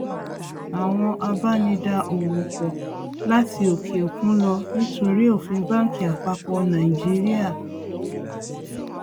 àwọn abá ní dá owó pò láti òkè òkun lọ nítorí òfin banki àpapọ nàìjíríà